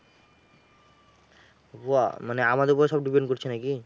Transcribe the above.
ওয়া, মানে আমাদের উপরে সব depend করছে নাকি?